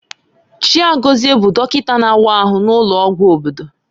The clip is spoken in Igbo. Chaigozie bụ dọkịta na-awa ahụ n'ụlọọgwụ obodo.